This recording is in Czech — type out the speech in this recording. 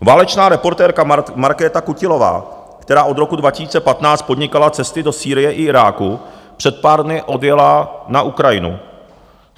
Válečná reportérka Markéta Kutilová, která od roku 2015 podnikala cesty do Sýrie i Iráku, před pár dny odjela na Ukrajinu.